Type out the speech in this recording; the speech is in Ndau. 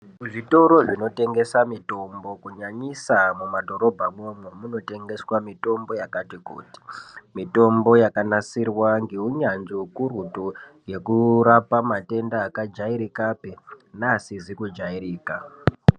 Zvitoro zvinotengesa mitombo kunyanyisa mumadhorobhamwo munotengeswa mitombo yakati kuti mitombo yakanasirwa ngeunyanzvi ukurutu yekurapa matenda akajairikapi neakajairika.